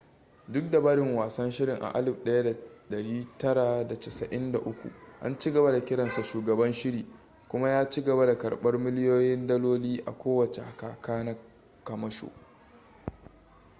duk da barin wasan shirin a 1993 an cigaba da kiransa shugaban shiri kuma ya cigaba da karbar miliyoyin daloli a kowace kaka na kamasho